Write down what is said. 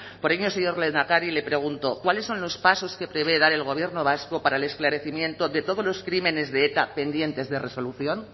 por ello señor lehendakari le pregunto cuáles son los pasos que prevé dar el gobierno vasco para el esclarecimiento de todos los crímenes de eta pendientes de resolución